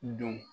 Don